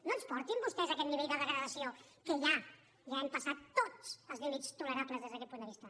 no ens portin vostès a aquest nivell de degradació que ja hem passat tots els límits tolerables des d’aquest punt de vista